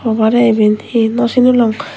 hobare iben he no sinilung.